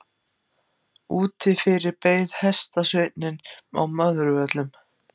Úti fyrir beið hestasveinninn á Möðruvöllum.